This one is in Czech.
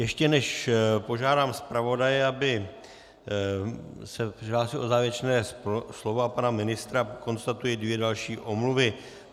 Ještě než požádám zpravodaje, aby se přihlásil o závěrečné slovo, a pana ministra, konstatuji dvě další omluvy.